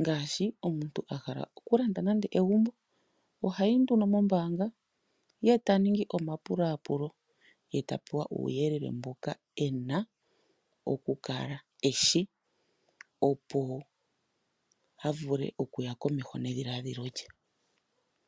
ngaashi omuntu ngele ahala okulanda egumbo ohayi mombanga eta ningi omapulapulo etapewa uuyelele mboka ena okukala eshi, opo avule okuya komeho nedhiladhilo lye.